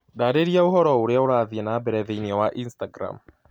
ndarĩria ũhoro ũrĩa ũrathiĩ na mbere thĩinĩ wa Instagram